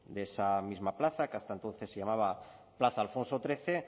de esa misma plaza que hasta entonces se llamaba plaza alfonso trece